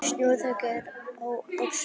Snjóþekja er á Öxi